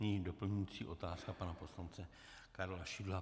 Nyní doplňující otázka pana poslance Karla Šidla.